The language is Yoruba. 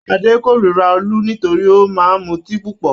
Adé kórira Olú nítorí ó máa mutí púpọ̀.